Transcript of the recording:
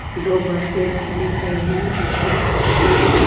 दो बसे दिख रही है पीछे पेड़ है।